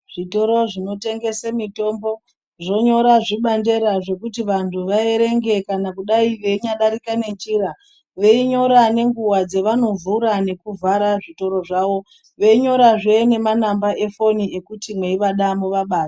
Zvitoro zvinotengese mitombo zvonyora zvibandera zvekuti vantu vaerenge kana kudai veinyadarika nenjira. Veinyora nenguwa dzevanovhura nekuvhara zvitoro zvavo. Veinyorazve nemanamba efoni ekuti mweivada muvabate.